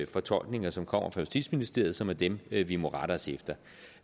fortolkninger som kommer fra justitsministeriet som er dem vi vi må rette os efter